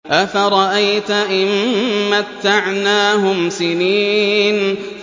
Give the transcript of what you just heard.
أَفَرَأَيْتَ إِن مَّتَّعْنَاهُمْ سِنِينَ